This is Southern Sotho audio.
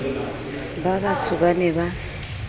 ba batsho ba ne ba